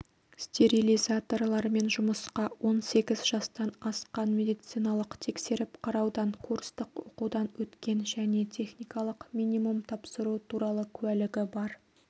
стерилизаторлармен жұмысқа он сегіз жастан асқан медициналық тексеріп-қараудан курстық оқудан өткен және техникалық минимум тапсыру туралы куәлігі бар